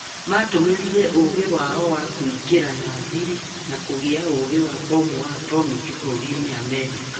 Matũmĩrire ũgi wao wa kwĩngira na thiri na kũgĩa uugĩ wa bomu wa atomic bũrũrinĩ Americaũ